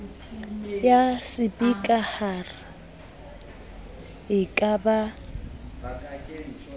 ya sepikara e ka ba